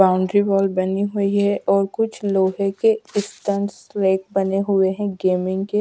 Boundary wall बनी हुई है और कुछ लोहे के स्टंट्स लाइक बने हुए हैं गेमिंग के।